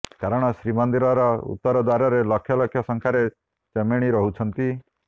କାରଣ ଶ୍ରୀମନ୍ଦିରର ଉତ୍ତର ଦ୍ୱାରରେ ଲକ୍ଷ ଲକ୍ଷ ସଂଖ୍ୟାରେ ଚେମିଣି ରହୁଛନ୍ତି